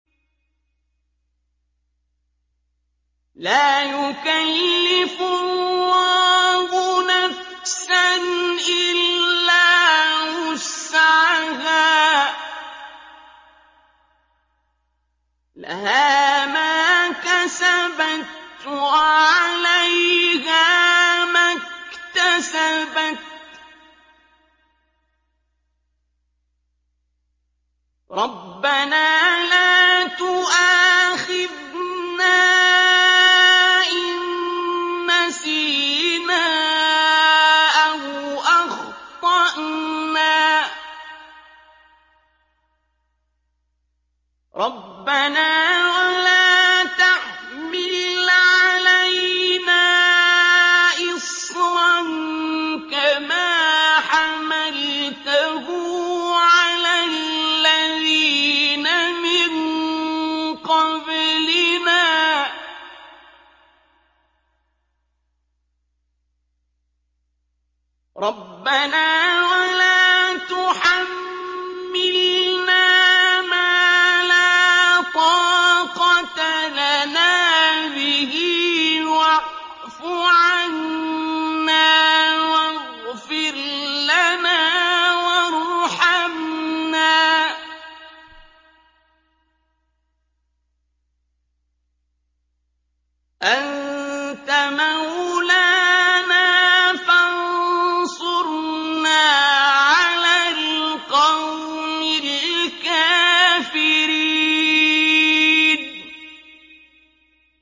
لَا يُكَلِّفُ اللَّهُ نَفْسًا إِلَّا وُسْعَهَا ۚ لَهَا مَا كَسَبَتْ وَعَلَيْهَا مَا اكْتَسَبَتْ ۗ رَبَّنَا لَا تُؤَاخِذْنَا إِن نَّسِينَا أَوْ أَخْطَأْنَا ۚ رَبَّنَا وَلَا تَحْمِلْ عَلَيْنَا إِصْرًا كَمَا حَمَلْتَهُ عَلَى الَّذِينَ مِن قَبْلِنَا ۚ رَبَّنَا وَلَا تُحَمِّلْنَا مَا لَا طَاقَةَ لَنَا بِهِ ۖ وَاعْفُ عَنَّا وَاغْفِرْ لَنَا وَارْحَمْنَا ۚ أَنتَ مَوْلَانَا فَانصُرْنَا عَلَى الْقَوْمِ الْكَافِرِينَ